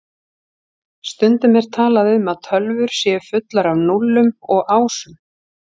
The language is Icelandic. Stundum er talað um að tölvur séu fullar af núllum og ásum.